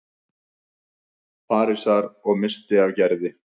Parísar- og missti af Gerði.